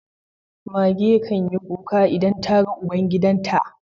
Mage can yi kuka idan ta ga ubangidan ta.